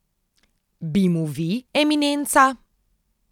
Bi mu vi, eminenca?